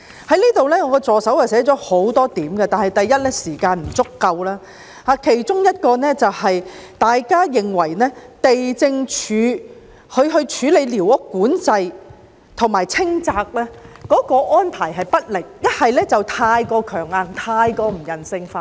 我助手撰寫的講稿提到很多點，但我的發言時間不足；其中有一點，就是地政總署處理寮屋管制及清拆安排不力，是太強硬、太不人性化。